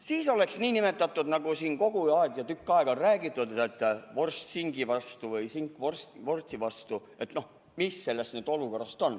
Siis oleks nii, nagu siin kogu aeg või tükk aega on räägitud, et vorst singi vastu või sink vorsti vastu.